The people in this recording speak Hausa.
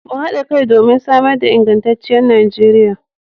Mu hada kai domin samar da ingantacciyar Najeriya